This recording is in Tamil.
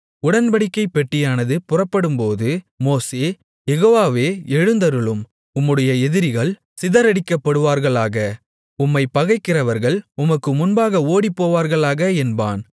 உடன்படிக்கைப் பெட்டியானது புறப்படும்போது மோசே யெகோவாவே எழுந்தருளும் உம்முடைய எதிரிகள் சிதறடிக்கப்படுவார்களாக உம்மைப் பகைக்கிறவர்கள் உமக்கு முன்பாக ஓடிப்போவார்களாக என்பான்